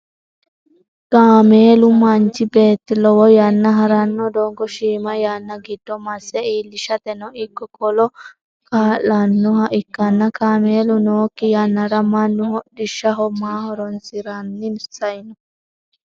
kaameelu manchi beetti lowo yanna haranno doogo shiima yanna giddo masse iilishateno ikko, kola kaa'lannoha ikkanna kaameelu nookki yannara mannu hodhishshaho maa horonsiranni saino?